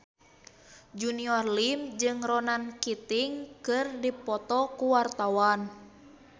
Junior Liem jeung Ronan Keating keur dipoto ku wartawan